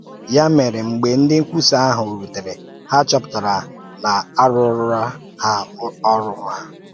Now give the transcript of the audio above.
Ya mere, mgbe ndị nkwùsà ahụ̀ rùtèrè, ha chọ̀pụtara na a rụ̀òròla ha ọ̀rụ́ ha